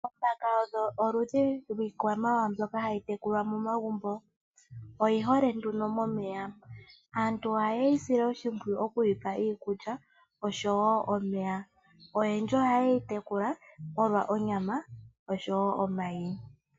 Oombaka odho oludhi lwikwamawawa mbyoka hayi tekulwa momagumbo oyihole nduno momeya .Aantu oha ye yi sile oshimpwiyu okuyipa iikulya oshowo omeya .Oyendji ohayeyi tekula opo yamonemo onyama noshowo omayi.